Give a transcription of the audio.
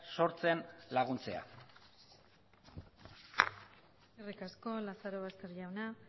sortzen laguntzea eskerrik asko lazarobaster jauna